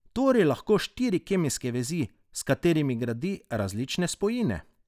Tvori lahko štiri kemijske vezi, s katerimi gradi različne spojine.